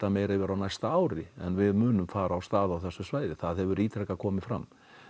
meira yfir á næsta ári en við munum fara af stað á þessu svæði það hefur ítrekað komið fram